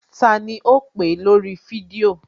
Tani ò ń pè lórí fídíò?